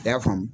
I y'a faamu